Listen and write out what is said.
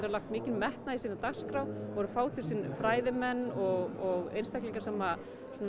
lagt mikinn metnað í sína dagskrá og eru að fá til sín fræðimenn og einstaklinga sem